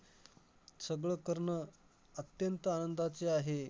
सगळं करणं अत्यंत आनंदाचे आहे,